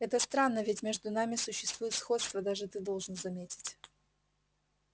это странно ведь между нами существует сходство даже ты должен заметить